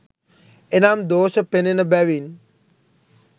එනම් දෝෂ පෙනෙන බැවින්